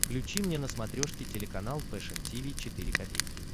включи мне на смотрешке телеканал фэшн ти ви четыре ка